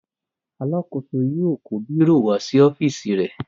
Alákòóso yóò kó bírò wá sí ọ́fíísì rẹ.